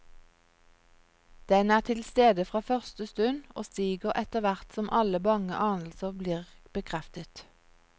Den er tilstede fra første stund, og stiger etterhvert som alle bange anelser blir bekreftet.